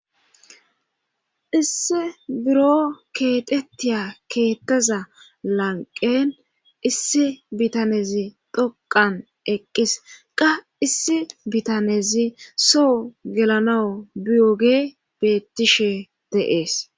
issi buro keexettiya keettaza lanqen issi bitanezi dhoqan eqqis qa issi bitanezi soo gelanawu biyoge bettishe deees